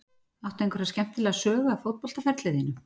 Áttu einhverja skemmtilega sögu af fótboltaferli þínum?